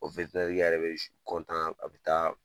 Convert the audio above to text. O yɛrɛ bɛ a bɛ taa